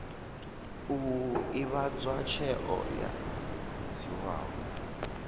u ivhadzwa tsheo yo dzhiiwaho